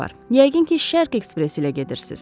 Yəqin ki, Şərq ekspresi ilə gedirsiz.